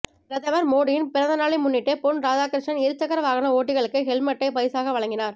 பிரதமர் மோடியின் பிறந்த நாளை முன்னிட்டு பொன் ராதாகிருஷ்ணன் இருசக்கர வாகன ஓட்டிகளுக்கு ஹெல்மட்டை பரிசாக வழங்கினார்